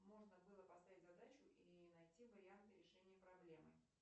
можно было поставить задачу и найти варианты решения проблемы